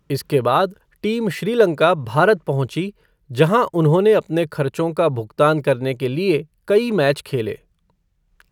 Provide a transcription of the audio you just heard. इसके बाद टीम श्रीलंका भारत पहुँची जहाँ उन्होंने अपने खर्चों का भुगतान करने के लिए कई मैच खेले।